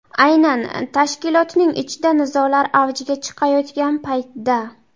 Aynan tashkilotning ichida nizolar avjiga chiqayotgan paytda.